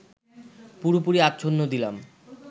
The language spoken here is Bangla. পুরোপুরি আচ্ছন্ন দিলাম